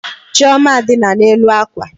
Chioma dina n'elu akwa.